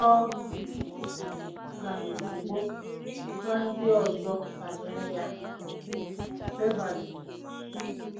Ọ gara ozugbo gwa ndị ọzọ banyere ya! ”— Beverly.